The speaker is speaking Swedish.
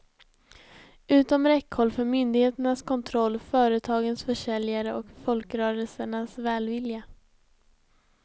Utom räckhåll för myndigheternas kontroll, företagens försäljare och folkrörelsernas välvilja.